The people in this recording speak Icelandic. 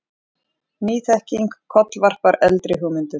Ný þekking kollvarpar eldri hugmyndum.